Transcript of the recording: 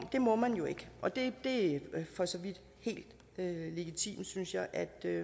må man jo ikke og det er for så vidt helt legitimt synes jeg at